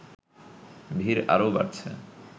ভিড় আরও বাড়ছে